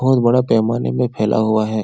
बहुत बड़ा पैमाने में फैला हुआ है।